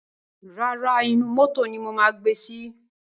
Rárá, inú mótò ni mo máa gbe sí.